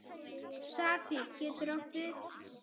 Safír getur átt við